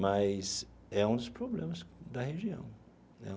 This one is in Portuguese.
mas é um dos problemas da região né.